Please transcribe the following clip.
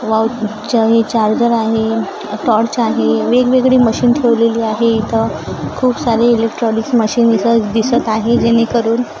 व चार्जर आहे टॉर्च आहे वेगवेगळी मशीन ठेवलेली आहे इथं खूप सारे इलेक्ट्रॉनिक्स मशीन दिस दिसत आहे जेणेकरून--